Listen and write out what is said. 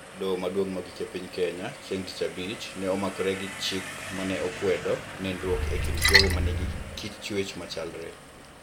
Doho Maduong' Mogik e piny Kenya, chieng' Tich Abich, ne omakore gi chik ma ne okwedo nindruok e kind jogo manigi kit chwech machalre